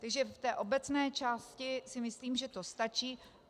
Takže v té obecné části si myslím, že to stačí.